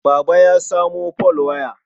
Baba ya samo folwaya.